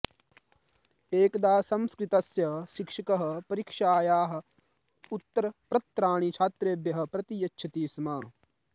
एकदा संस्कृतस्य शिक्षकः परीक्षायाः उत्तरप्रत्राणि छात्रेभ्यः प्रतियच्छति स्म